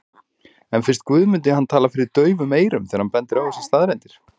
En finnst Guðmundi hann tala fyrir daufum eyrum þegar hann bendir á þessar staðreyndir?